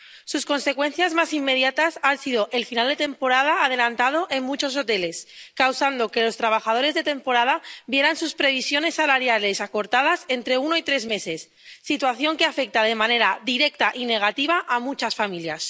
Sus consecuencias más inmediatas han sido un final de temporada adelantado en muchos hoteles, lo que ha causado que los trabajadores de temporada vieran sus previsiones salariales acortadas entre uno y tres meses, situación que afecta de manera directa y negativa a muchas familias.